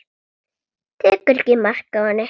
Tekur ekki mark á henni.